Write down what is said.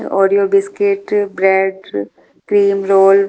Oreo biscuit bread cream roll --